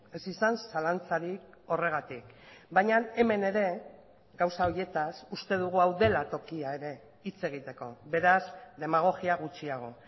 ez izan zalantzarik horregatik baina hemen ere gauza horietaz uste dugu hau dela tokia ere hitz egiteko beraz demagogia gutxiago